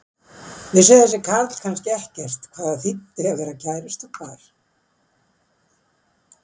Vissi þessi karl kannski ekkert hvað það þýddi að vera kærustupar?